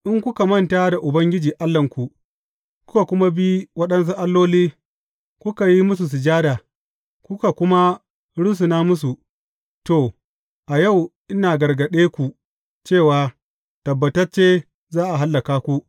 In kuka manta da Ubangiji Allahnku, kuka kuma bi waɗansu alloli, kuka yi musu sujada, kuka kuma rusuna musu, to, a yau ina gargaɗe ku cewa tabbatacce za a hallaka ku.